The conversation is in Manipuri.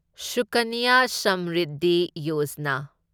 ꯁꯨꯀꯟꯌ ꯁꯃꯔꯤꯗꯙꯤ ꯌꯣꯖꯥꯅꯥ